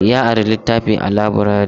Ya ari littafi a laburare.